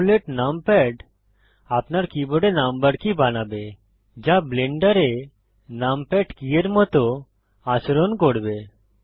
AMOLED numpad আপনার কীবোর্ডে number key বানাবে যা ব্লেন্ডারে নামপ্যাড কী এর মত আচরণ করবে